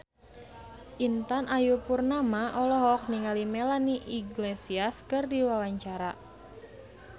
Intan Ayu Purnama olohok ningali Melanie Iglesias keur diwawancara